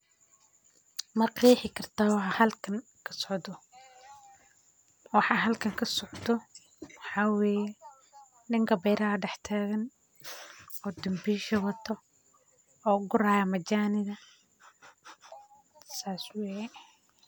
Maqexi kartaa waxaa halkan kasocdo waxaa halkan kasocdo waxaa weye nika beeraha dex tagan oo danbisha wato oo guri hayo majaniga sas weye.